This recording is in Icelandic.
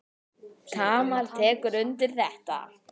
Tamar tekur undir þetta.